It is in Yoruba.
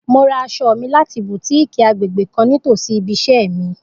Mo ra aṣọ mi lati Butikii agbegbe kan nitosi ibi iṣẹ mi.